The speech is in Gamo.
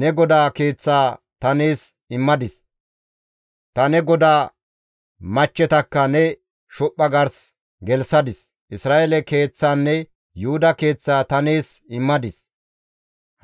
Ne godaa keeththaa ta nees immadis; ta ne godaa machchetakka ne shophpha gars gelththadis; Isra7eele keeththaanne Yuhuda keeththaa ta nees immadis;